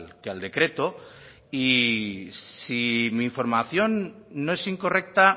que al decreto y si mi información no es incorrecta